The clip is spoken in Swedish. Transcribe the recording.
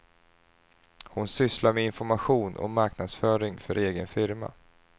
Hon sysslar med information och marknadsföring för en egen firma.